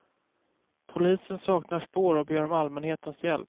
Polisen saknar spår och ber om allmänhetens hjälp.